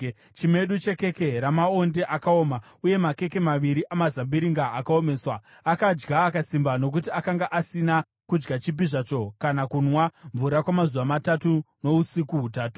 chimedu chekeke ramaonde akaoma uye makeke maviri amazambiringa akaomeswa. Akadya akasimba, nokuti akanga asina kudya chipi zvacho kana kunwa mvura kwamazuva matatu nousiku hutatu.